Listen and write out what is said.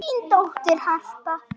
Þín dóttir, Harpa.